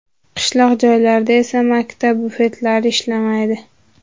Qishloq joylarda esa maktab bufetlari ishlamaydi.